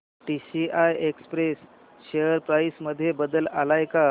TCI express share price मध्ये बदल आलाय का